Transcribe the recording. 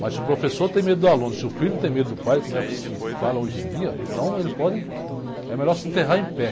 Mas se o professor tem medo do aluno, se o filho tem medo do pai, como é que se fala hoje em dia, então ele pode, é melhor se enterrar em pé.